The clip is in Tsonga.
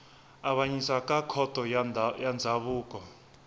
avanyisa ka khoto ya ndzhavuko